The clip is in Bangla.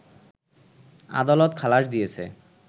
আদালত খালাস দিয়েছে